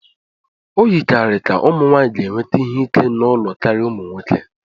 O yikarịrị ka ụmụ nwanyị ga-enweta ihe ike n'ụlọ karịa ụmụ nwoke